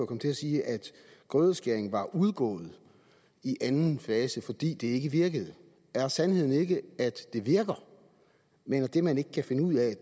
kom til at sige at grødeskæring var udgået i anden fase fordi det ikke virkede er sandheden ikke at det virker men at det man ikke kan finde ud af